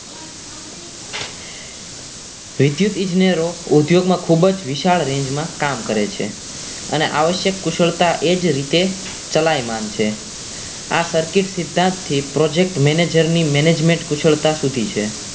વિદ્યુત ઈજનેરો ઉદ્યોગમાં ખૂબ જ વિશાળ range કામ કરે છે અને આવશ્યક કુશળતા એ જ રીતે ચલાયમાન છે આ circuit સિદ્ધાંતથી project manager ની management કુશળતા સુધી છે